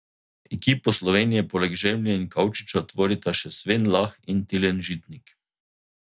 Ekipo Slovenije poleg Žemlje in Kavčiča tvorita še Sven Lah in Tilen Žitnik.